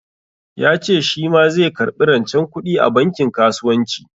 Ya ce shi ma zai karɓi rancen kuɗi a bankin kasuwanci.